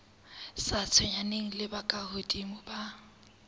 sa tshwenyaneng le bokahodimo ba